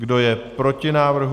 Kdo je proti návrhu?